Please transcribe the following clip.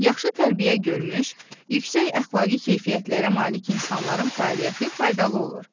Yaxşı tərbiyə görmüş, yüksək əxlaqi keyfiyyətlərə malik insanların fəaliyyəti faydalı olur.